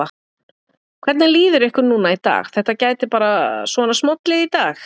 Hvernig líður ykkur núna í dag, þetta gæti bara svona smollið í dag?